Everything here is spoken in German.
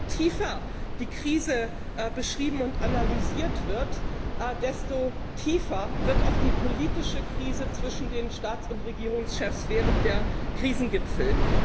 Je tiefer die Krise beschrieben und analysiert wird, desto tiefer wird auch die politische Krise zwischen den Staats und Regierungschefs während der Krisengipfel.